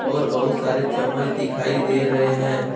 और बहुत सारे चम्मच दिखाई दे रहे हैं।